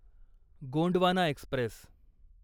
Gondwana Express